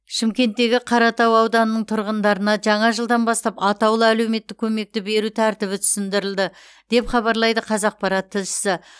шымкенттегі қаратау ауданының тұрғындарына жаңа жылдан бастап атаулы әлеуметтік көмекті беру тәртібі түсіндірілді деп хабарлайды қазақпарат тілшісі